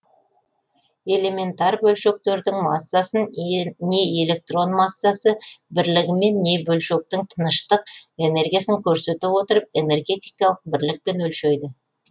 элементар бөлшектердің массасын не электрон массасы бірлігімен не бөлшектің тыныштық энергиясын көрсете отырып энергетикалық бірлікпен өлшейді